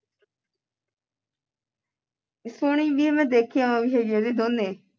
ਸੋਨਿ ਵੀ ਹੈ ਮੈਂ ਦੇਖੀ ਵੀ ਹੈ ਉਹਦੀ ਦੋਂਨੇਂ